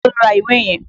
Èló lo ra ìwé yẹn?